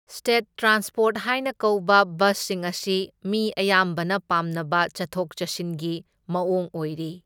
State transport ꯍꯥꯏꯅ ꯀꯧꯕ ꯕꯁꯁꯤꯡ ꯑꯁꯤ ꯃꯤ ꯑꯌꯥꯝꯕꯅ ꯄꯥꯝꯅꯕ ꯆꯠꯊꯣꯛ ꯆꯠꯁꯤꯟꯒꯤ ꯃꯑꯣꯡ ꯑꯣꯏꯔꯤ꯫